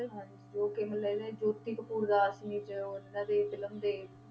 ਹਾਂਜੀ ਜੋ ਕਿ ਮਤਲਬ ਇਹ ਜੋਤੀ ਕਪੂਰ ਦਾਸ ਨੇ ਤੇ ਉਹਨਾਂ ਦੀ film ਦੇ